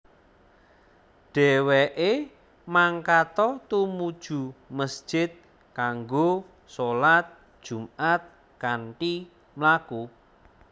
Dhèwèké mangkata tumuju mesjid kanggo sholat Jumaat kanthi mlaku